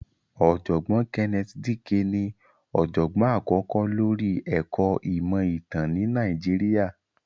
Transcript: Ọ̀jọ̀gbọ́n Kenneth Dike ní ọ̀jọ̀gbọ́n àkọ́kọ́ lóri ẹ̀kọ́ ìmọ̀ ìtàn ni Nàìjíríà.